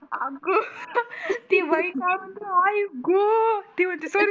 अग ती बाई काय म्हणते आई ग ते म्हणते सॉरी